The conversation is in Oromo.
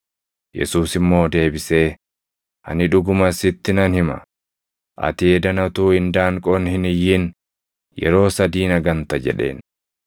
Yesuus immoo deebisee, “Ani dhuguma sitti nan hima; ati edana utuu indaanqoon hin iyyin yeroo sadii na ganta” jedheen.